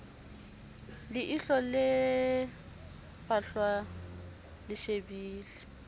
leihlo le fahlwa le shebile